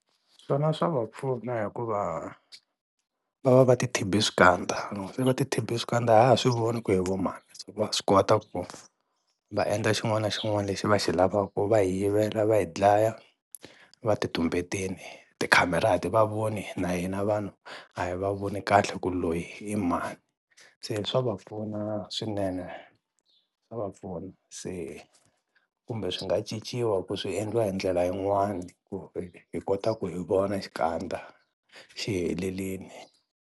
Swona swa va pfuna hikuva va va va ti thibhe swikandza loko se va ti thibhe swikandza a ha ha swi voni ku i vo mani va swi kota va endla xin'wana na xin'wana lexi va xi lavaka va hi yivela va hi dlaya va ti tumbetini ti-camera a ti va voni na hina vanhu a hi va voni kahle ku loyi i mani, se swa va pfuna swinene swa va pfuna se kumbe swi nga cinciwa ku swi endliwa hi ndlela yin'wana ku hi kota ku hi vona xikandza xi helelini.